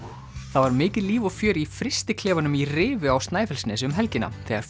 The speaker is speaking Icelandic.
það var mikið líf og fjör í í Rifi á Snæfellsnesi um helgina þegar